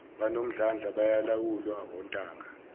banomdlandla bayalawulwa ontanga